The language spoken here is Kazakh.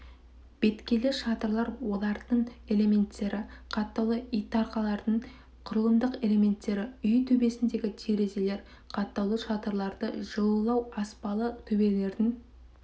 беткейлі шатырлар олардың элементтері қаттаулы итарқалардың құрылымдық элементтері үй төбесіндегі терезелер қаттаулы шатырларды жылылау аспалы төбелердің